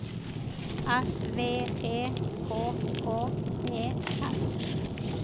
S V E K K E S